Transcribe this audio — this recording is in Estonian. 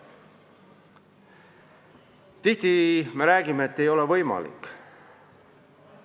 Tihti me räägime, et see või teine ei ole võimalik.